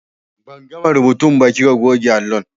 Ban gama rubutu ba kika goge allon.